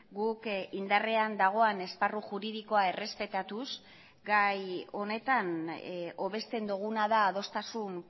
guk indarrean dagoen esparru juridikoa errespetatuz gai honetan hobesten duguna da adostasun